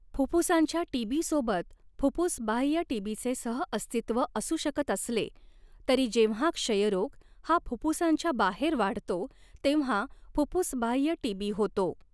फुफ्फुसांच्या टीबीसोबत फुफ्फुसबाह्य टीबीचे सहअस्तित्व असू शकत असले, तरी जेव्हा क्षयरोग हा फुफ्फुसांच्या बाहेर वाढतो, तेव्हा फुफ्फुसबाह्य टीबी होतो.